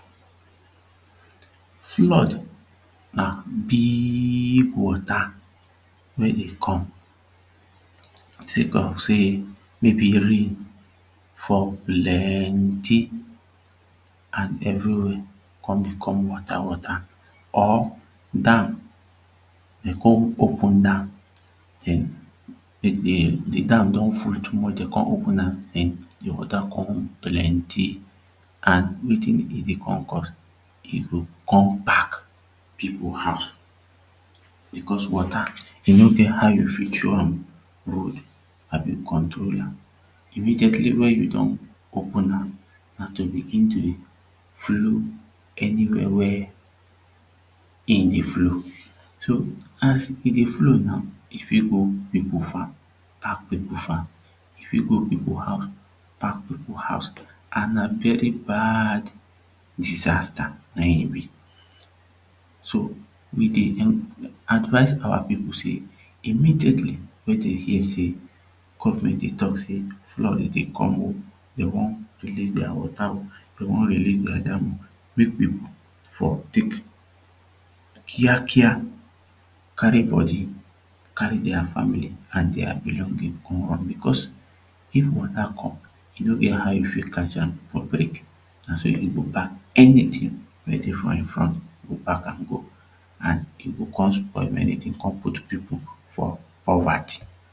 Flood na big wata wey dey come say cos say maybe rain fall plenty and everywey come become wata wata or dam dey come open dam The dam don full too much dey come open am den de wata come plenty and wetin e dey come cos e go come pack people house becos wata e no get how you fit show am road abi control am immediately wey you don open am na to begin to dey flow anywia wey him dey flow so as e dey flow now e fit go people farm park people farm e fit go people house lack people house and na very bad disaster na him e be so we dey advice our people say immediately wey dey hear say gofment dey talk say flood dey come oo dey wan release dia wata oh dey wan release dia dam ok mek people for tek Kia Kia carry body carry dia family and dia belongings go run becos of wata come e no get how you fit catch am for break na so e go pack anytin wey dey for him front e go pack am go and e go fine spoil many tins come put people for poverty